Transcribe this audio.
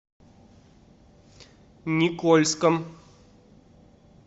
никольском